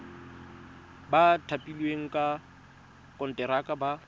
ba thapilweng ka konteraka ba